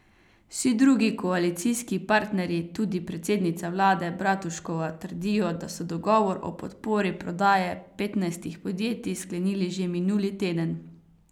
Vsi drugi koalicijski partnerji, tudi predsednica vlade Bratuškova, trdijo, da so dogovor o podpori prodaje petnajstih podjetij sklenili že minuli teden.